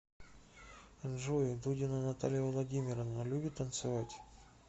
джой дудина наталья владимировна любит танцевать